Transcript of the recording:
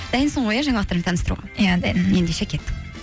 дайынсың ғой иә жаңалықтармен таныстыруға иә дайынмын ендеше кеттік